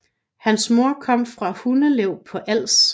Hans mor kom fra Hundslev på Als